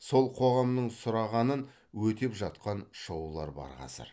сол қоғамның сұрағанын өтеп жатқан шоулар бар қазір